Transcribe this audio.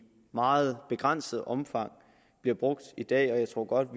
meget begrænset omfang bliver brugt i dag og jeg tror godt at